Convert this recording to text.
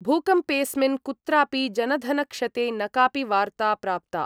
भूकम्पेस्मिन् कुत्रापि जनधनक्षते न कापि वार्ता प्राप्ता।